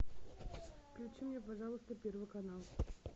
включи мне пожалуйста первый канал